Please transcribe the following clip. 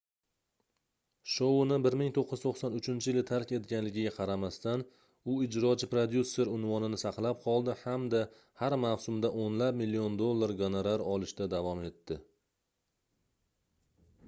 shouni 1993-yili tark etganligiga qaramasdan u ijrochi prodyuser unvonini saqlab qoldi hamda har mavsumda oʻnlab million dollar goronar olishda davom etdi